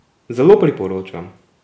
Zelo priporočam!